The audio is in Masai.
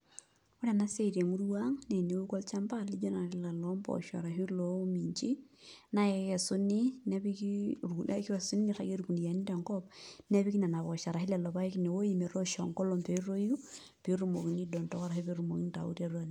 Ore enasia temurua aang na teneoku olchamba lijo ele lompoosho arashu lominjini na kekesuni nepiki irkuniani, niragieki rkuniani tenkop nepiki lolopaek ashubmpoosho metoosho enkolong petoi petumokini aidondoa ashu petumokini aitau.